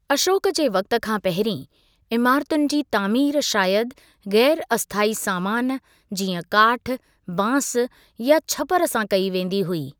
अशोक जे वक़्ति खां पहिरीं, इमारतुनि जी तामीरु शायदु गै़र अस्थायी सामानु, जीअं काठ, बांसु, या छप्परु सां कई वेंदी हुई।